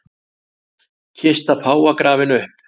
Kista páfa grafin upp